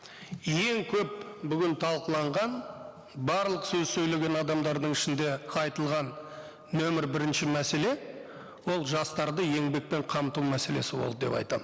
ең көп бүгін талқыланған барлық сөз сөйлеген адамдардың ішінде айтылған нөмір бірінші мәселе ол жастарды еңбекпен қамту мәселесі болды деп айтамын